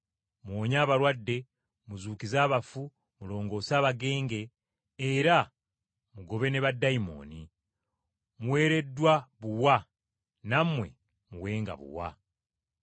Muwonye abalwadde, muzuukize abafu, mulongoose abagenge, era mugobe ne baddayimooni. Muweereddwa buwa nammwe muwenga buwa.